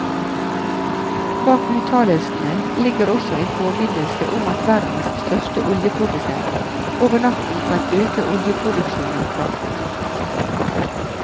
Bak uttalelsene ligger også en påminnelse om at verdens største oljeprodusent over natten kan øke oljeproduksjonen kraftig.